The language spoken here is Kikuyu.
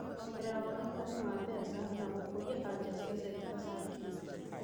kuongerera wonekani wa mbeca, na gũkũria anja cia cekita cia kĩũmbe